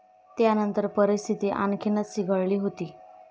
त्यानंतर परिस्थिती आणखीनच चिघळली होती.